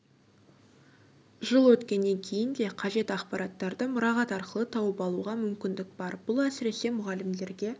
жыл өткеннен кейін де қажет ақпараттарды мұрағат арқылы тауып алуға мүмкіндік бар бұл әсіресе мұғалімдерге